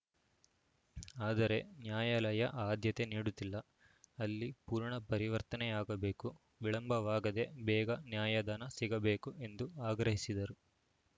ಆದರೆ ನ್ಯಾಯಾಲಯ ಆದ್ಯತೆ ನೀಡುತ್ತಿಲ್ಲ ಅಲ್ಲಿ ಪೂರ್ಣ ಪರಿವರ್ತನೆಯಾಗಬೇಕು ವಿಳಂಬವಾಗದೆ ಬೇಗ ನ್ಯಾಯದಾನ ಸಿಗಬೇಕು ಎಂದು ಆಗ್ರಹಿಸಿದರು